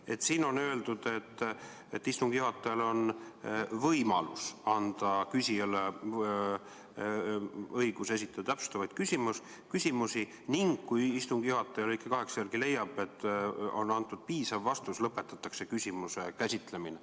Seaduses on öeldud, et istungi juhatajal on võimalus anda küsijale õigus esitada täpsustavaid küsimusi ning kui istungi juhataja lõike 8 järgi leiab, et antud vastus on piisav, siis lõpetatakse küsimuse käsitlemine.